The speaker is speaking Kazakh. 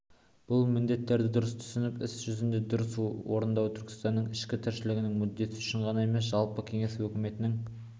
бұл міндеттерді дұрыс түсініп іс жүзінде дұрыс орындау түркістанның ішкі тіршілігінің мүддесі үшін ғана емес жалпы кеңес өкіметінің